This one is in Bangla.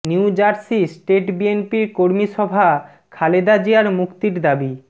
নিউজার্সি স্টেট বিএনপির কর্মী সভা খালেদা জিয়ার মুক্তির দাবি